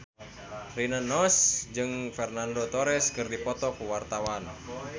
Rina Nose jeung Fernando Torres keur dipoto ku wartawan